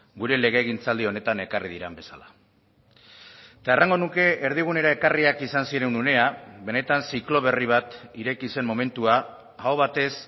gure legegintzaldi honetan ekarri diren bezala eta errango nuke erdigunera ekarriak izan ziren unea benetan ziklo berri bat ireki zen momentua aho batez